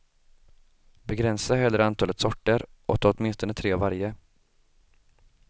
Begränsa hellre antalet sorter och ta åtminstone tre av varje.